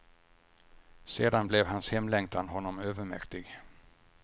Sedan blev hans hemlängtan honom övermäktig.